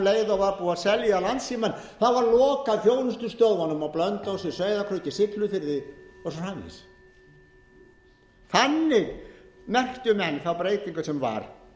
að um leið og var búið að selja landssímann var lokað þjónustustöðvunum á blönduósi sauðárkróki siglufirði og svo framvegis þannig merktu menn þá breytingu sem var